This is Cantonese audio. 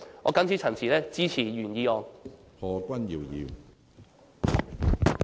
我謹此陳辭，支持原議案。